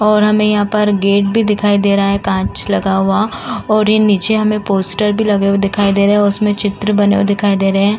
और हमें यहां पर गेट भी दिखाई दे रहा है कांच लगा हुआ और नीचे हमें पोस्टर भी लगे हुए दिख रहा है उसमें चित्र बने हुए दिखाई दे रहे है।